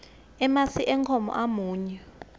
emasi enkhomo amunyu